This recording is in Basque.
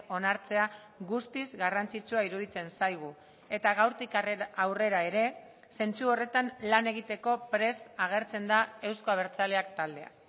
onartzea guztiz garrantzitsua iruditzen zaigu eta gaurtik aurrera ere zentzu horretan lan egiteko prest agertzen da euzko abertzaleak taldea